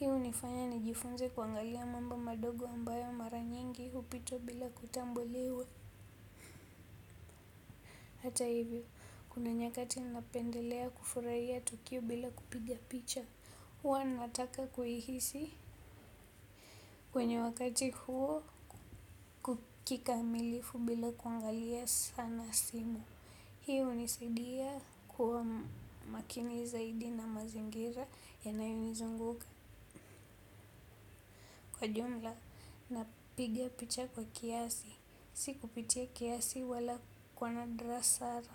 Hii hunifanya nijifunze kuangalia mambo madogo ambayo mara nyingi hupita bila kutambuliwa. Hata hivyo, kuna nyakati napendelea kufurahia tokio bila kupiga picha. Huwa nataka kuihihisi kwenye wakati huo kukikamilifu bila kuangalia sana simu. Hii hunisaidia kwa makini zaidi na mazingira yanayonizunguka kwa jumla napiga picha kwa kiasi. Si kupitia kiasi wala kuwa na drasara.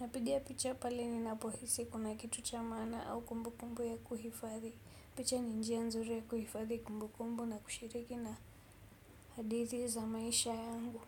Napiga picha pale ninapohisi kuna kitu cha maana au kumbu kumbu ya kuhifadhi. Picha ni njia nzuri ya kuhifadhi kumbu kumbu na kushiriki na hadithi za maisha yangu.